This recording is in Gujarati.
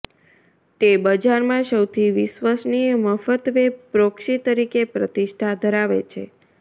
તે બજારમાં સૌથી વિશ્વસનીય મફત વેબ પ્રોક્સી તરીકે પ્રતિષ્ઠા ધરાવે છે